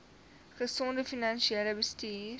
gesonde finansiële bestuur